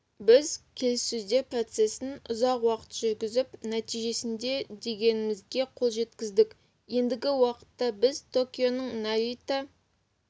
біз келіссөздер процессін ұзақ уақыт жүргізіп нәтижесінде дегенімізге қол жеткіздік ендігі уақытта бізде токионың нарита